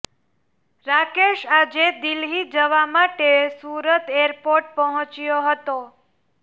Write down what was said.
રાકેશ આજે દિલ્હી જવા માટે સુરત એરપોર્ટ પહોંચ્યો હતો